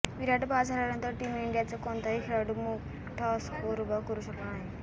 विराट बाद झाल्यानंतर टीम इंडियाचा कोणताही खेळाडू मोठा स्कोअर उभा करू शकला नाही